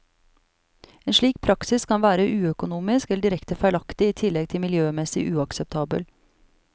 En slik praksis kan være uøkonomisk eller direkte feilaktig i tillegg til miljømessig uakseptabel.